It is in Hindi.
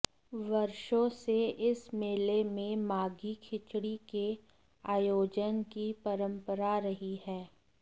वर्षों से इस मेले में माघी खिचड़ी के आयोजन की परंपरा रही है